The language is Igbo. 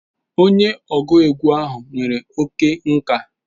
Onye ọgụ egwu ahụ nwere oke nka.